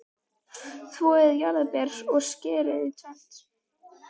Þvoið jarðarberin og skerið í tvennt.